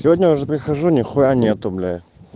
сегодня уже прихожу нихуя нету блять